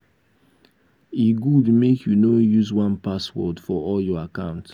e good make you no use one password for all of your account.